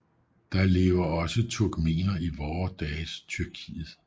Der lever også turkmener i vore dages Tyrkiet